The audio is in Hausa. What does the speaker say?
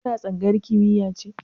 Ka na tsangayar kimiya ne?